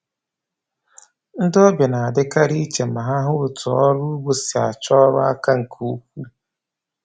Ndi ọbịa na-adịkarị iche ma hụ otú ọrụ ugbo si achọ ọrụ aka nke ukwuu.